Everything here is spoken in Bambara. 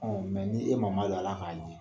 ni e ma madon ala k'a